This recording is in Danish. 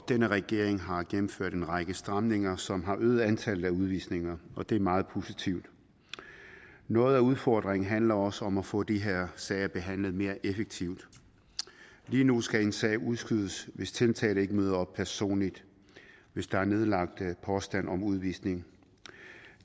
denne regering har gennemført en række stramninger som har øget antallet af udvisninger og det er meget positivt noget af udfordringen handler også om at få de her sager behandlet mere effektivt lige nu skal en sag udskydes hvis tiltalte ikke møder op personligt hvis der er nedlagt påstand om udvisning